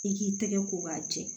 I k'i tɛgɛ ko k'a jɛ